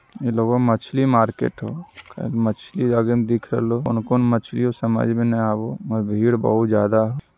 ये लगहो मछली मार्किट हो कहे की मछली आगे में दिख रहलो कउनो-कउनो मछलीओ समझ में न आवो भीड़ बहुत ज्यादा हो |